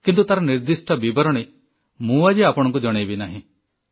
କିନ୍ତୁ ତାର ନିର୍ଦ୍ଦିଷ୍ଟ ବିବରଣୀ ମୁଁ ଆଜି ଆପଣଙ୍କୁ ଜଣେଇବି ନାହିଁ